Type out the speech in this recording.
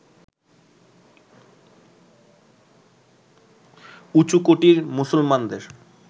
উঁচু কোটির মুসলমানদের